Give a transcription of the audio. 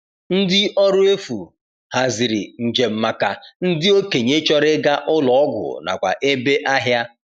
Ndi ọrụ efu haziri njem maka ndị okenye chọrọ ịga ụlọ ọgwụ nakwa ebe ahịa.